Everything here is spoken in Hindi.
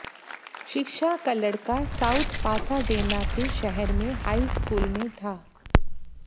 शिक्षा लड़का साउथ पासाडेना के शहर में हाई स्कूल में था